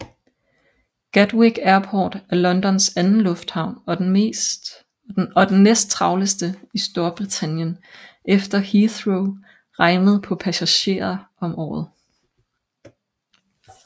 Gatwick Airport er Londons anden lufthavn og den næsttravleste i Storbritannien efter Heathrow regnet på passagerer om året